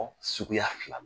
suguya fila